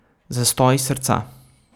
Zastoj srca.